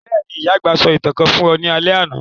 Béèni, ìyà-àgbà sọ ​​ìtàn kan fun ọ ni alẹ́ àná